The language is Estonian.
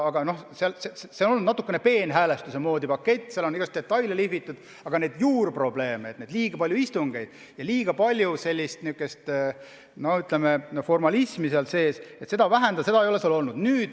Aga see on olnud natukene peenhäälestuse moodi pakett, seal on igasugu detaile lihvitud, aga juurprobleeme, et on liiga palju istungeid ja liiga palju, ütleme, formalismi, ei ole lahendatud.